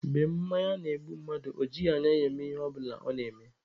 Mgbe mmanya na-egbu mmadụ, o jighị anya ya eme Ihe ọbụla ọ na-eme.